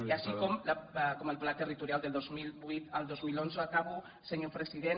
i així com el pla territorial del dos mil vuit al dos mil onze acabo senyor president